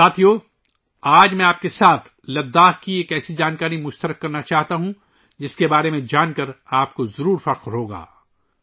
ساتھیو ، آج میں آپ کے ساتھ لداخ کے بارے میں ایک ایسی ہی معلومات شیئر کرنا چاہتا ہوں ، جس کے بارے میں جان کر آپ یقیناً فخر محسوس کریں گے